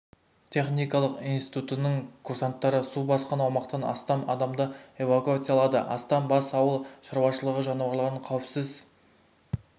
техникалық институтының курсанттары су басқан аумақтан астам адамды эвакуациялады астам бас ауыл шаруашылығы жануарларын қауіпсіз